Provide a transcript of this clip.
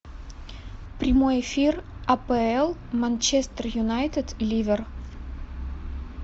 прямой эфир апл манчестер юнайтед ливер